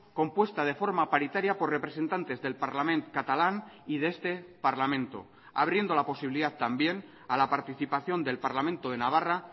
compuesta de forma paritaria por representantes del parlament catalán y de este parlamento abriendo la posibilidad también a la participación del parlamento de navarra